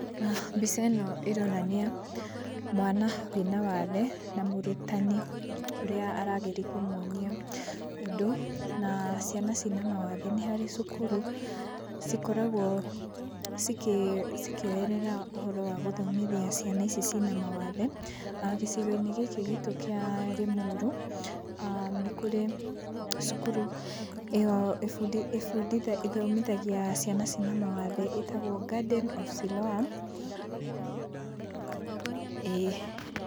Mbica ĩno ĩronania mwana wĩna wathe na mũrutani ũrĩa arageria kũmuonia ũndũ na ciana ciĩ na mawathe nĩ harĩ cukuru cikoragwo cikĩoyerera ũhoro wa gũthomithia ciana icio ciĩ na mawathe.[uh] Gĩcigo-inĩ gĩkĩ gitũ kĩa Rĩmuru nĩ kũrĩ cukuru ĩo ĩthomithagia ciana ciĩ na mawathe ĩtagwo Garden of Siloam, ĩĩ.